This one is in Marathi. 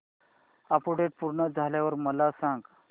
अपडेट पूर्ण झाल्यावर मला सांग